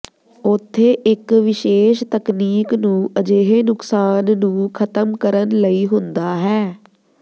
ਉੱਥੇ ਇੱਕ ਵਿਸ਼ੇਸ਼ ਤਕਨੀਕ ਨੂੰ ਅਜਿਹੇ ਨੁਕਸਾਨ ਨੂੰ ਖ਼ਤਮ ਕਰਨ ਲਈ ਹੁੰਦਾ ਹੈ